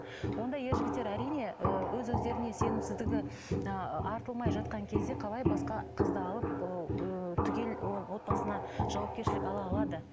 ондай ер жігіттер әрине ы өз өздеріне сенімсіздігі ы артылмай жатқан кезде қалай басқа қызды алып ыыы түгел отбасына жауапкершілік ала алады